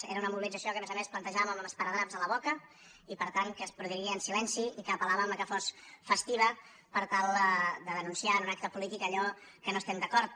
era una mobilització que a més a més plantejàvem amb esparadraps a la boca i per tant que es produiria en silenci i que apel·làvem que fos festiva per tal de denunciar en un acte polític allò en què no estem d’acord